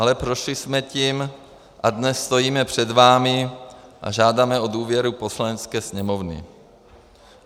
Ale prošli jsme tím a dnes stojíme před vámi a žádáme o důvěru Poslanecké sněmovny.